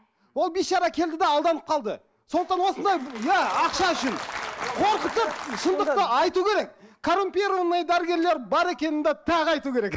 ол бейшара келді де алданып қалды сондықтан осындай иә ақша үшін қорқытып шындықты айту керек коррумпированный дәрігерлер бар екенін де тағы айту керек